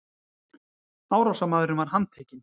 Árásarmaðurinn var handtekinn